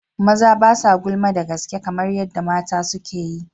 Maza ba sa gulma da gaske kamar yadda mata suke yi.